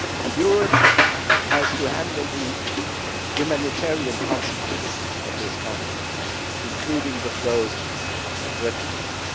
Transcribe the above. Europe has to handle the humanitarian consequences of this conflict, including the flows of refugees.